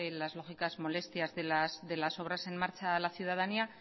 las lógicas molestias de las obras en marcha a la ciudadanía